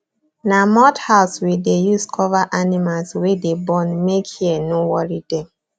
na mud house we deh use cover animals wey dey born make hear no worry dem